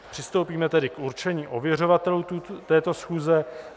Přistoupíme tedy k určení ověřovatelů této schůze.